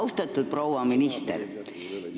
Austatud proua minister!